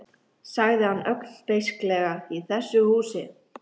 sagði hann ögn beisklega, í þessu húsi